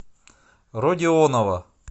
родионова